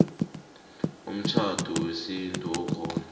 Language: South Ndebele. umtjhado wesintu okhona